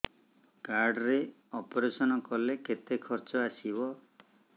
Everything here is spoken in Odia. କାର୍ଡ ରେ ଅପେରସନ କଲେ କେତେ ଖର୍ଚ ଆସିବ